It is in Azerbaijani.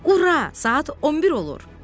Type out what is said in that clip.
Ura, saat 11 olur!